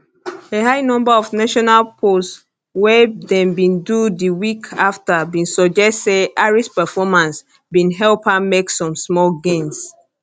a high number of national polls wey dem bin do di week afta bin suggest say harris performance bin help her make some small gains